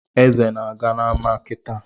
Eze na-aga n’ama kịtaa